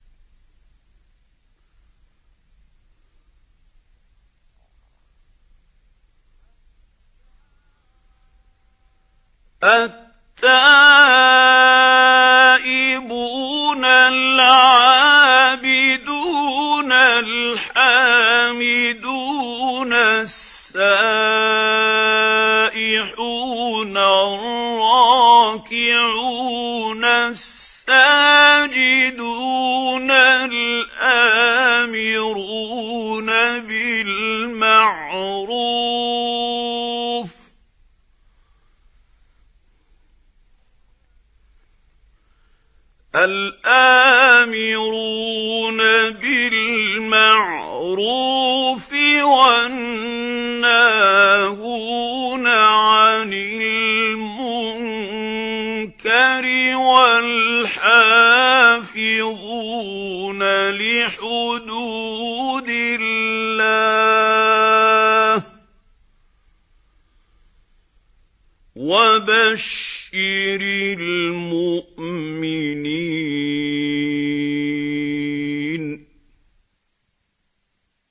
التَّائِبُونَ الْعَابِدُونَ الْحَامِدُونَ السَّائِحُونَ الرَّاكِعُونَ السَّاجِدُونَ الْآمِرُونَ بِالْمَعْرُوفِ وَالنَّاهُونَ عَنِ الْمُنكَرِ وَالْحَافِظُونَ لِحُدُودِ اللَّهِ ۗ وَبَشِّرِ الْمُؤْمِنِينَ